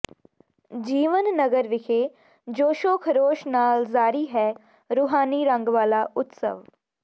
ਜੀਵਨ ਨਗਰ ਵਿਖੇ ਜੋਸ਼ੋਖਰੋਸ਼ ਨਾਲ ਜਾਰੀ ਹੈ ਰੂਹਾਨੀ ਰੰਗ ਵਾਲਾ ਉਤਸਵ